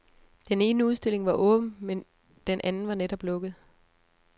Den ene udstilling var åben, men den anden var netop lukket.